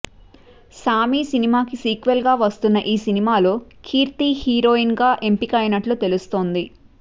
సామి సినిమాకి సీక్వెల్ గా వస్తున్న ఈ సినిమాలో కీర్తి హీరోయి గా ఎంపికైనట్లు తెలుస్తుంది